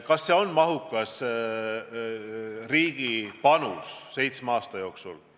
Kas see on mahukas riigi panus seitsme aasta peale?